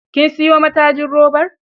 Kin siyo matajin robar?